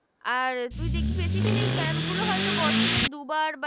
আর তুই দেখবি basically এই camp গুলো হয়তো বছরে দু'বার বা